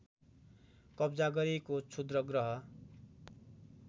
कब्जा गरेको क्षुद्रग्रह